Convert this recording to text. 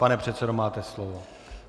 Pane předsedo, máte slovo.